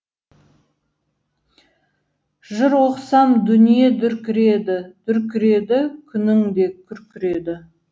жыр оқысам дүние дүркіреді дүркіреді күнің де күркіреді